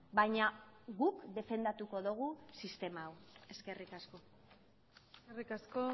baina guk defendatuko dugu sistema hau eskerrik asko eskerrik asko